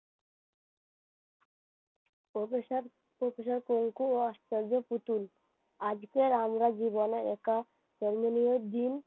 professor পং শঙ্কু ও আশ্চর্য পুতুল আজকের আমরা জীবনে একা স্মরণীয় দিন